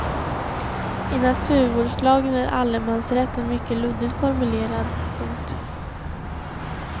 I naturvårdslagen är allemansrätten mycket luddigt formulerad. punkt